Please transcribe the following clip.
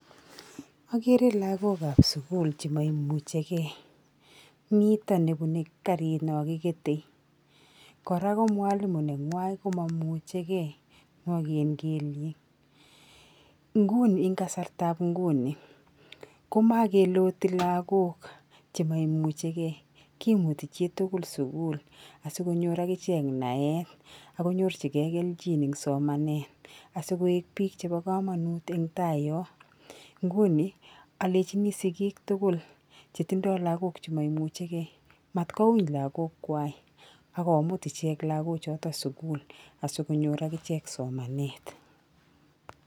Akere lagokap sukul chemaimuchekei. Mito nebune karit nakikete. kora ko mwalilo neng'wa komamuchikei, nwaken kelyek. Nguni eng kasartap nguni komakeloti lagok chemaimuchikei. Kimuti chiitukul sukul asikonyor akichek naet akonyorchikei kelchin eng somanet asikoek biik chepo komanut eng tai yo. Nguni, alechini sikik tukul chetindo lagok chemaimuchikei mat kouny lagokwa akomut ichek lakochot sukul, asikonyor akichek somanet.